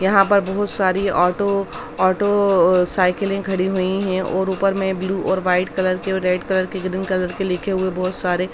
यहाँ पर बहुत सारी ऑटो ऑटो ओ साइकिलें खड़ी हुई हैं और ऊपर में बुलू और वाइट कलर के रेड कलर के ग्रीन कलर के लिखे हुए बहुत सारे |